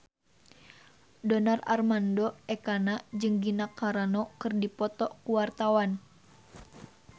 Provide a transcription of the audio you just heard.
Donar Armando Ekana jeung Gina Carano keur dipoto ku wartawan